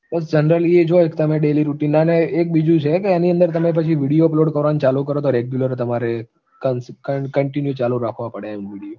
generally એ જ હોય તમે daily routine અને એક બીજું છે કે એની અંદર તમે પછી video upload કરવાનું ચાલુ કરો તો regular તમારે continue ચાલુ રાખવા પડે એમ video